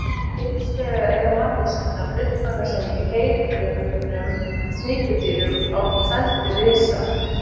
Hins vegar eiga manneskjurnar uppruna sinn í leiðigjörnum sníkjudýrum á feldi risa.